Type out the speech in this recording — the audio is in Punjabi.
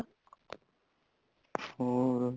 ਹੋਰ